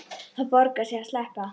Það borgar sig að sleppa.